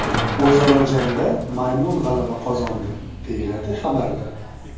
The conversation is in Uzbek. O‘zaro jangda maymun g‘alaba qozondi, deyiladi xabarda.